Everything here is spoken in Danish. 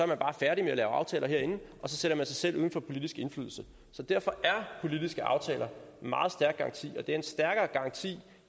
bare færdig med at lave aftaler herinde og så sætter man sig selv uden for politisk indflydelse så derfor er politiske aftaler en meget stærk garanti og det er en stærkere garanti